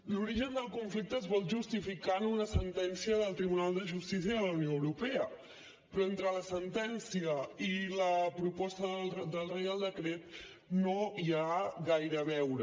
l’origen del conflicte es vol justificar en una sentència del tribunal de justícia de la unió europea però entre la sentència i la proposta del reial decret no hi ha gaire a veure